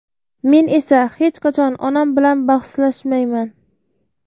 Men esa hech qachon onam bilan bahslashmayman.